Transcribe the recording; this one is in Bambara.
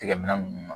Tigɛminɛ nunnu